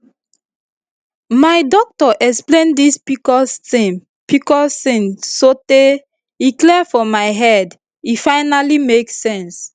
my doctor explain this pcos this pcos thing sotay e clear for my head e finally make sense